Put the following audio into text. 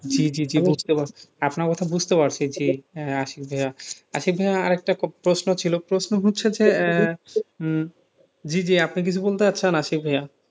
জি জি জি, বুঝতে পারছি আপনার কথা বুঝতে পারছি যে, আশিক ভাইয়া, আশিক ভাইয়া আরেকটা প্রশ্ন ছিল প্রশ্ন হচ্ছে যে, জি জি আপনি কিছু বলতে চাইছেন আশিক ভাইয়া,